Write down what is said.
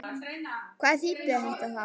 Hvað þýddi þetta þá?